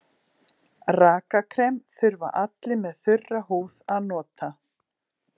Rakakrem þurfa allir með þurra húð að nota.